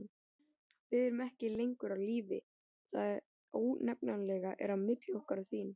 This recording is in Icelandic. Við erum ekki lengur á lífi: það ónefnanlega er á milli okkar og þín.